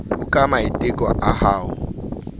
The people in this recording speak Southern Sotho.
ho ka maiteko a ho